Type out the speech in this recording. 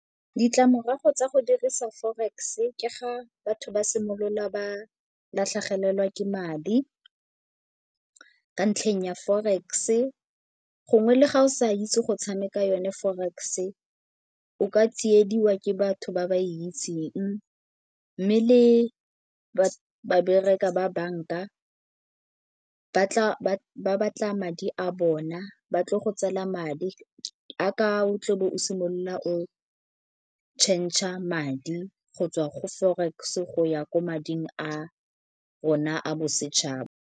Ditlamorago tsa go dirisa forex ke ga batho ba simolola ba latlhegelwa ke madi ka ntlheng ya forex-e. Gongwe le ga o sa itse go tshameka yone forex, o ka tsiediwa ke batho ba ba itseng mme le ba bereka ba banka ba batla madi a bona batle go tseela madi a ka o tle o bo o simolola o changer madi go tswa go forex go ya ko mading a rona a bosetšhaba.